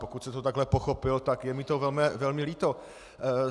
Pokud jste to takhle pochopil, tak je mi to velmi líto.